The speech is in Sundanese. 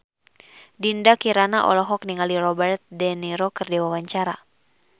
Dinda Kirana olohok ningali Robert de Niro keur diwawancara